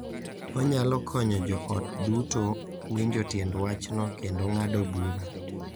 Onyalo konyo joot duto winjo tiend wachno kendo ng’ado bura.